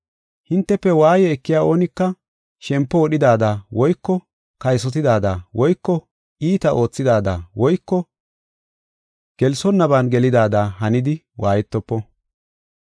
Hintefe waaye ekiya oonika shempo wodhidaada woyko kaysotidaada woyko iita oothidaada woyko gelsonnaban gelidaada hanidi waayetofo.